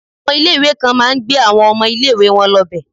Àwọn ilé ìwé kan máa ń gbé àwọn ọmọ ilé ìwé wọn lọ bẹ̀.